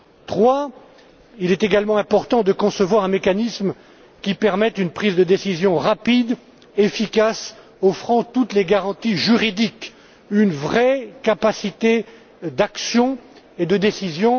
Troisièmement, il est également important de concevoir un mécanisme qui permette une prise de décision rapide et efficace offrant toutes les garanties juridiques, une vraie capacité d'action et de décision.